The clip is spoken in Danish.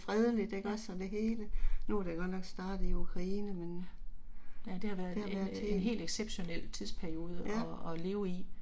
Ja, ja. Ja det har været en øh en helt exceptionel tidsperiode og og leve i